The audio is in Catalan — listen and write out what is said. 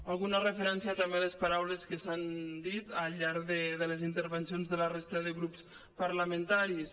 alguna referència també a les paraules que s’han dit al llarg de les intervencions de la resta de grups parlamentaris